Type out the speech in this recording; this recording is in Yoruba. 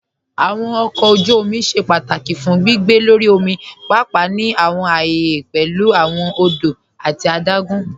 Awọn ọkọ ojú òmì ṣẹ́ pátákì fún gbìgbé lọ́rí òmì, páàpáà ní awọn ààyẹ̀ pẹ̀lú awọn òdò àti àdágùn.